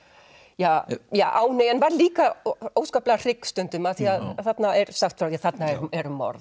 ja ánægju en var líka óskaplega hrygg stundum því þarna er sagt frá þarna er morð